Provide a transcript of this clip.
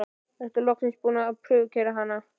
Ertu þá loksins búinn að prufukeyra hana?